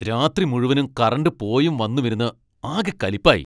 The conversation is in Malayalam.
രാത്രി മുഴുവനും കറന്റ് പോയും വന്നുമിരുന്ന് ആകെ കലിപ്പായി.